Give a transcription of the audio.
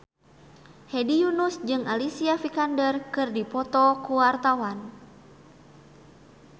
Hedi Yunus jeung Alicia Vikander keur dipoto ku wartawan